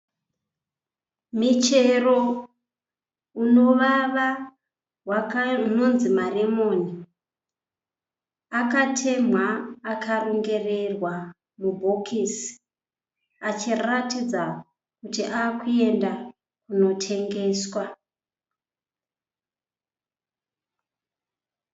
Michero unovava unonzi maremoni akatemhwa akarongererwa mubhokisi achiratidza kuti ava kuenda kunotengeswa.